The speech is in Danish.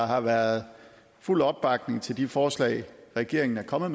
har været fuld opbakning til de forslag regeringen er kommet